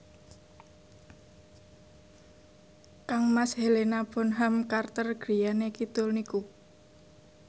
kangmas Helena Bonham Carter griyane kidul niku